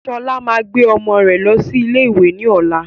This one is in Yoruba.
Sọlá máa gbé ọmọ rẹ losi ilé ìwé ni ọ̀la